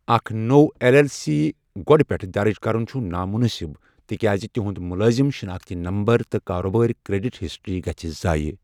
اکھ نوٚو L L C گۄڈٕ پٮ۪ٹھ دَرٕج کرُن چھُ نامناسب تِکیازِ تُہنٛد مُلٲزِم شِناختی نمبر تہٕ کارٕبٲرۍ کریڈٹ ہسٹری گژھِ زایہِ۔